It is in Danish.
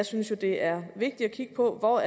synes at det er vigtigt at kigge på hvor